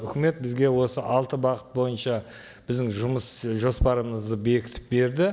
үкімет бізге осы алты бағыт бойынша біздің жұмыс жоспарымызды бекітіп берді